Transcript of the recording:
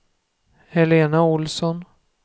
Helena Olsson